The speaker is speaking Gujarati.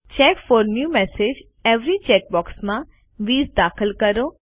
check for new messages every check બૉક્સમાં 20 દાખલ કરો